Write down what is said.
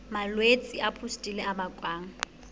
malwetse a pustule a bakwang